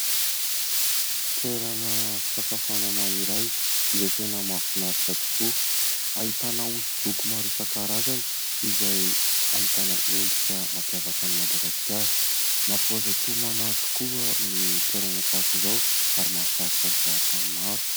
Toerana fisakafoanana iray izay tena mafinaritra tokoa, ahitana hosodoko maro isan-karazany izay ahitana endrika mampiavakan'i Madagasikara. Mampahazoto homana tokoa ny toerana tahaka izao ary mahasarika mizaha tany maro.